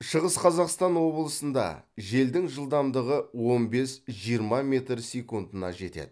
шығыс қазақстан облысында желдің жылдамдығы он бес жиырма метр секундына жетеді